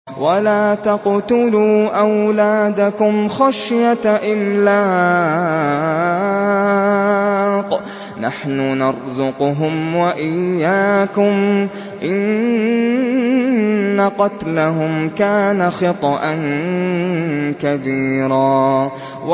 وَلَا تَقْتُلُوا أَوْلَادَكُمْ خَشْيَةَ إِمْلَاقٍ ۖ نَّحْنُ نَرْزُقُهُمْ وَإِيَّاكُمْ ۚ إِنَّ قَتْلَهُمْ كَانَ خِطْئًا كَبِيرًا